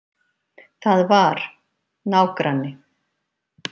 Það var. nágranni.